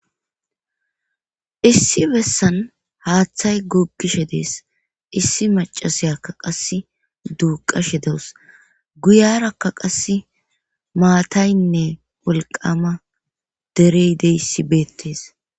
issi bessan haaththay googishe dees issi macashiyakka qas duuqashe dewus guyarakka qass maataynne wolqama derey deyssi beettes